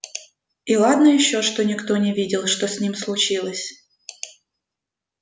и ладно ещё что никто не видел что с ними случилось